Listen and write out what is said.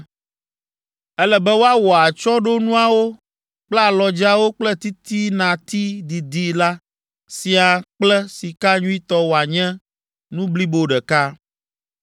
Ele be woawɔ atsyɔ̃ɖonuawo kple alɔdzeawo kple titinati didi la siaa kple sika nyuitɔ woanye nu blibo ɖeka.